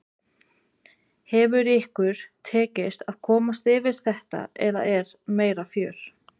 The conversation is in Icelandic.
Hefur ykkur tekist að komast fyrir þetta eða er meira fjör?